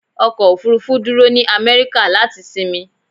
Ọkọ̀ òfúrúfú dúró ní Amẹ́ríkà láti sinmi.